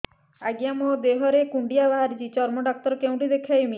ଆଜ୍ଞା ମୋ ଦେହ ରେ କୁଣ୍ଡିଆ ବାହାରିଛି ଚର୍ମ ଡାକ୍ତର ଙ୍କୁ କେଉଁଠି ଦେଖେଇମି